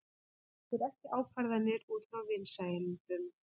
Tekur ekki ákvarðanir út frá vinsældum